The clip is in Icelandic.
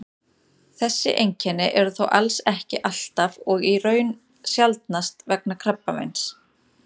þessi einkenni eru þó alls ekki alltaf og í raun sjaldnast vegna krabbameins